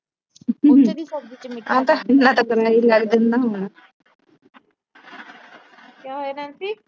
ਕਿਆ ਹੋਇਆ ਨੈਨਸੀ।